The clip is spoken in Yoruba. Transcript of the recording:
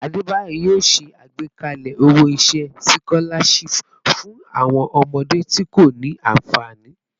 Adebayor yoo ṣe agbekalẹ owo-iṣẹ sikolashipu fun awọn ọmọde ti ko ni anfani